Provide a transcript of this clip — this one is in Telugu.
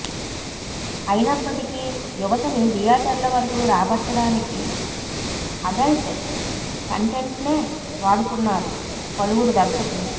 అయినప్పటికీ యువతని థియేటర్ల వరకు రాబట్టడానికి అడల్ట్ కంటెంట్నే వాడుతున్నారు పలువురు దర్శకులు